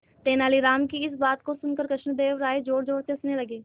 तेनालीराम की इस बात को सुनकर कृष्णदेव राय जोरजोर से हंसने लगे